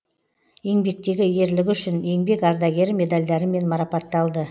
еңбектегі ерлігі үшін еңбек ардагері медальдарымен марапатталды